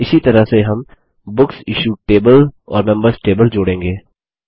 इसी तरह से हम बुकसिश्यूड टेबल और मेंबर्स टेबल जोड़ेंगे